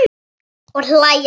Og hlæja saman.